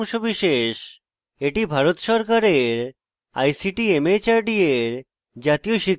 এটি ভারত সরকারের ict mhrd এর জাতীয় শিক্ষা mission দ্বারা সমর্থিত